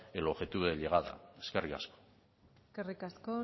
el objetivo de llegada eskerrik asko eskerrik asko